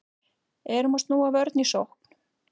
Erum að snúa vörn í sókn